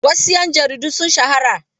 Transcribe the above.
Wasu 'yan jarida sun shahara.